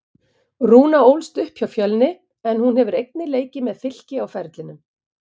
Rúna ólst upp hjá Fjölni en hún hefur einnig leikið með Fylki á ferlinum.